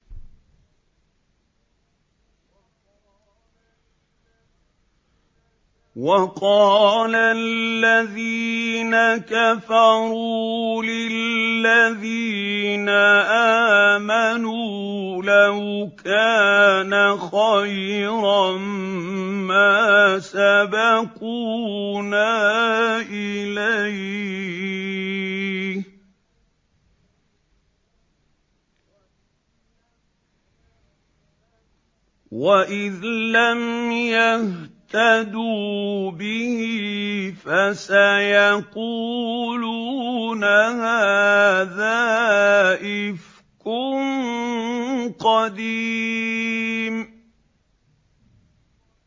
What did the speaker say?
وَقَالَ الَّذِينَ كَفَرُوا لِلَّذِينَ آمَنُوا لَوْ كَانَ خَيْرًا مَّا سَبَقُونَا إِلَيْهِ ۚ وَإِذْ لَمْ يَهْتَدُوا بِهِ فَسَيَقُولُونَ هَٰذَا إِفْكٌ قَدِيمٌ